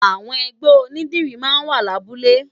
Awòn ègbè ónìdìrí má n wá làbúlé